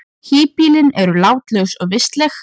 Híbýlin eru látlaus og vistleg.